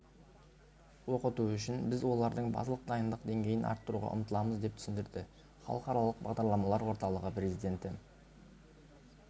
оқыту үшін біз олардың базалық дайындық деңгейін арттыруға ұмтыламыз деп түсіндірді халықаралық бағдарламалар орталығы президенті